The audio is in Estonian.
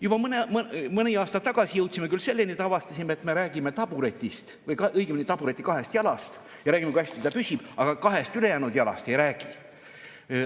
Juba mõni aasta tagasi jõudsime küll selleni, et avastasime, et me räägime taburetist või õigemini tabureti kahest jalast ja räägime, kui hästi ta püsib, aga ülejäänud kahest jalast ei räägi.